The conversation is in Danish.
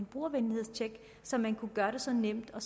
brugervenlighedstjek så man kunne gøre det så nemt og